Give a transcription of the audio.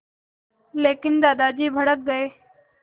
लेकिन दादाजी भड़क गए